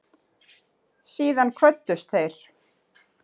Síðan kvöddust þeir.